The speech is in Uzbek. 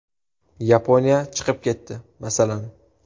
Yaponiya chiqib ketdi, masalan.